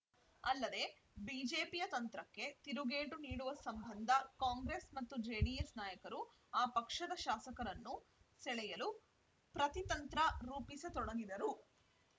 ಅಲ್ಲದೆ ಬಿಜೆಪಿಯ ತಂತ್ರಕ್ಕೆ ತಿರುಗೇಟು ನೀಡುವ ಸಂಬಂಧ ಕಾಂಗ್ರೆಸ್‌ ಮತ್ತು ಜೆಡಿಎಸ್‌ ನಾಯಕರು ಆ ಪಕ್ಷದ ಶಾಸಕರನ್ನು ಸೆಳೆಯಲು ಪ್ರತಿತಂತ್ರ ರೂಪಿಸತೊಡಗಿದರು